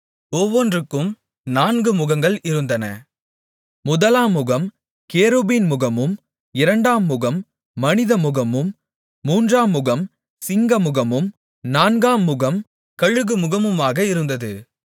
ஒவ்வொன்றுக்கும் நான்கு முகங்கள் இருந்தன முதலாம் முகம் கேருபீன்முகமும் இரண்டாம் முகம் மனிதமுகமும் மூன்றாம் முகம் சிங்கமுகமும் நான்காம்முகம் கழுகுமுகமுமாக இருந்தது